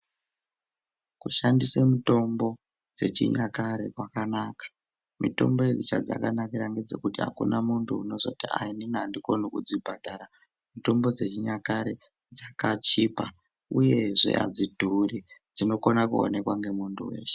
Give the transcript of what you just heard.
Kushandise mitombo dzechinyakare kwakanaka. Mitombo iyi cheyakanakira ngechekuti hakuna muntu unozoti andikoni kudzibhadhara ngekuti andikoni kudzibhadhara. Mitombo dzechinyakare dzakachipa uyezve adzidhuri, dzinokona kuonekwa ngemuntu weshe.